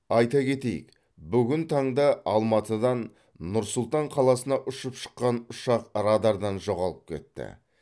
айта кетейік бүгін таңда алматыдан нұр сұлтан қаласына ұшып шыққан ұшақ радардан жоғалып кетті